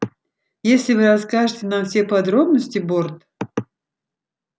если вы расскажете нам все подробности борт